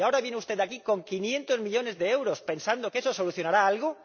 ¿Y ahora viene usted aquí con 500 millones de euros, pensando que eso solucionará algo?